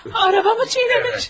Araba mı çiynəmiş?